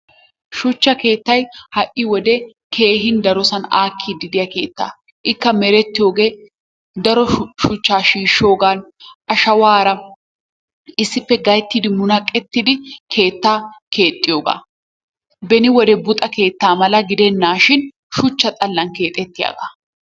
Shuchcha keettay ha'i wode keehin darosan aakkiiddi diya keettaa. Ikka merettiyogee daro shuchchaa shiishoogan ashawaara issippe gayittidi munaqettidi keettaa keexxiyoga. Beni wode buuxa keettaa mala gidennaashin shuchcha xallan keexettiyagaa.